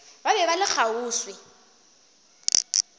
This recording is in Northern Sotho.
ba be ba le kgauswi